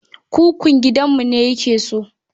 Kukun gidanmu ne yake so.